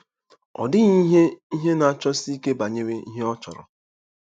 Ọ dịghị ihe ihe na-achọsi ike banyere ihe ọ chọrọ.